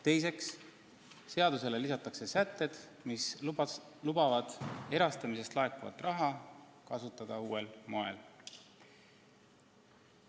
Teiseks, seadusele lisatakse sätted, mis lubavad erastamisest laekuvat raha kasutada uuel moel.